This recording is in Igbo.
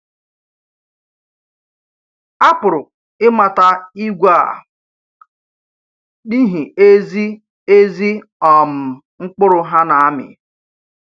A pụrụ ịmata ìgwè a n’ihi ezi ezi um mkpụrụ ha na-amị.